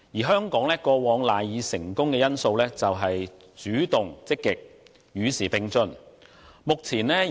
香港過往賴以成功的因素，就是主動、積極及與時並進。